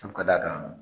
Su ka d'a kan